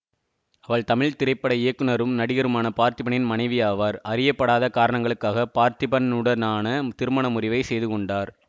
இவர் தமிழ் திரைப்பட இயக்குனரும் நடிகருமான பார்த்திபனின் மனைவியாவார் அறியப்படாத காரணங்களுக்காக பார்த்திபனுடனான திருமண முறிவை செய்து கொண்டார்